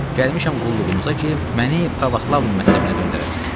Gəlmişəm qulluğunuza ki, məni pravoslav məzhəbinə döndərəsiz.